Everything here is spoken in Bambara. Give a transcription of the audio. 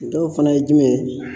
Dɔw fana ye jumɛn ye